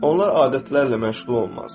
Onlar adətlərlə məşğul olmaz.